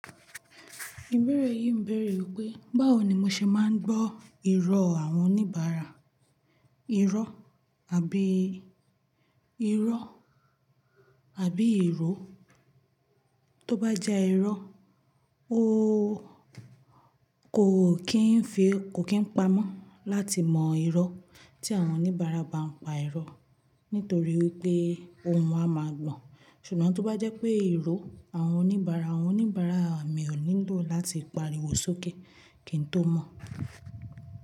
Ìbéèrè yìí ń bèèrè pé báwo ni mo ṣe máa ń gbọ́ ìró àwọn oníbàárà, irọ́ àbí ìró. Tóbá jẹ́ irọ́, o oo ó kò kín pamọ́ láti mọ ìró tí àwọn oníbàárà bá ń pa irọ́ nítorí pé ohun wọn a máa gbọ̀n. Ṣùgbọ́n tó bá jẹ́ pé ìró àwọn oníbàárà, àwọn oníbàárà mi ò nílò láti pariwo sókè kí n tó mọ̀